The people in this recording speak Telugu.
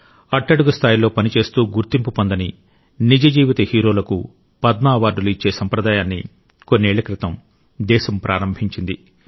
అట్టడుగు స్థాయిలో పనిచేస్తూ గుర్తింపు పొందని నిజ జీవిత హీరోలకు పద్మ అవార్డులు ఇచ్చే సంప్రదాయాన్ని కొన్నేళ్ల క్రితం దేశం ప్రారంభించింది